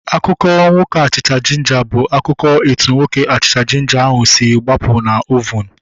Akụkọ nwoke achịcha jinja bụ akụkọ etu nwoke achịcha jinja ahu si gbapụ na ovunu